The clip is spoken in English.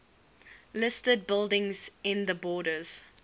listed buildings in the borders